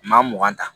Maa mugan ta